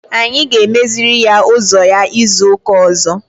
Anyị ga-emeziri ya ụzọ ya izu ụka ọzọ.